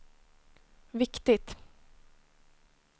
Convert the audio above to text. viktigt